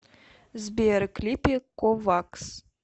сбер клипы ковакс